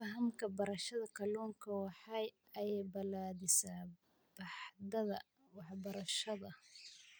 Fahamka beerashada kalluunka waxa ay balaadhisaa baaxadda waxbarashada.